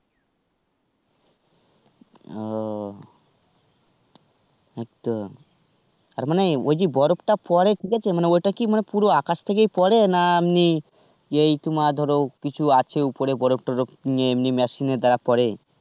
ও. এইতো. তার মানে ওই যে বরফটা পরে ঠিক আছে মানে ওটা কি পুরো আকাশ থেকেই পরে না এমনি ওই তোমার ধরো কিছু আছে ওপরে বরফ টরফ নিয়ে এমনি machine এর দ্বারা পরে,